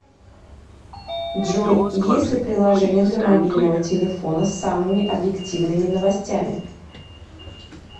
джой есть ли приложение для мобильного телефона с самыми объективными новостями